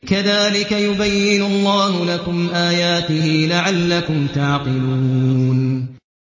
كَذَٰلِكَ يُبَيِّنُ اللَّهُ لَكُمْ آيَاتِهِ لَعَلَّكُمْ تَعْقِلُونَ